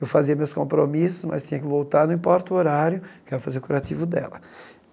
Eu fazia meus compromissos, mas tinha que voltar, não importa o horário, que eu ia fazer o curativo dela.